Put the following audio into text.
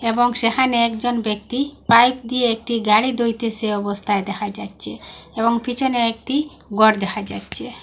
এবং সেহানে একজন ব্যক্তি পাইপ দিয়ে একটি গাড়ি ধুইতেসে এ অবস্থায় দেখা যাচ্ছে এবং পিছনে একটি গর দেহা যাচ্ছে।